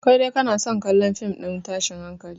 Kai dai kana son kallon fim ɗin tashin hankali